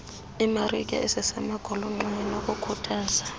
iimarike ezisemagolonxeni nokukhuthaza